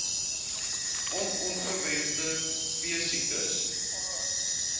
on ongewenste veesiektes